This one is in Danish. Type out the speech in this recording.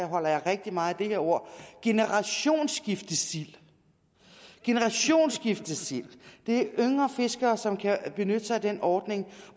holder jeg rigtig meget af det her ord generationsskiftesild generationsskiftesild det er yngre fiskere som kan benytte sig af den ordning